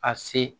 A se